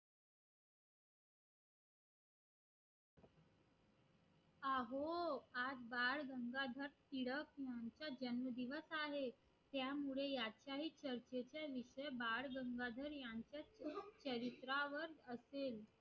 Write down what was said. हा हो आज बाळ गंगाधर टिळक यांचा जन्मदिवस आहे त्यामुळे यांच्या ही चर्चेचा विषय बाळ गंगाधर यांच्या चरित्रावर असेल